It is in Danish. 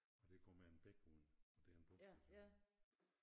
Og der kommer en bækmund og der er en pumpestation